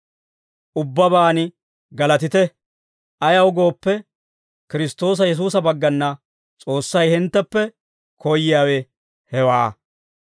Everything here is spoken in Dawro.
Ubbabaan galatite. Ayaw gooppe, Kiristtoosa Yesuusa baggana S'oossay hintteppe koyyiyaawe hewaa.